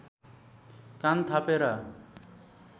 कान थापेर